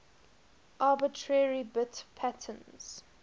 arbitrary bit patterns